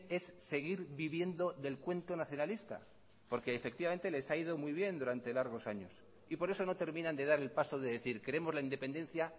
es seguir viviendo del cuento nacionalista porque efectivamente les ha ido muy bien durante largos años y por eso no terminan de dar el paso de decir queremos la independencia